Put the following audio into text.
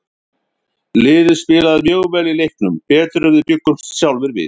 Liðið spilaði mjög vel í leiknum, betur en við bjuggumst sjálfir við.